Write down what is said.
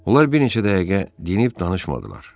Onlar bir neçə dəqiqə dinib danışmadılar.